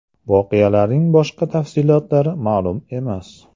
Voqeaning boshqa tafsilotlari ma’lum emas.